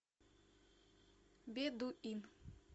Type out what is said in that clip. бедуин